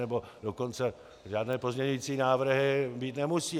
Nebo dokonce žádné pozměňovací návrhy být nemusí.